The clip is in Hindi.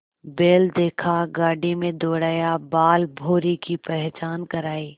बैल देखा गाड़ी में दौड़ाया बालभौंरी की पहचान करायी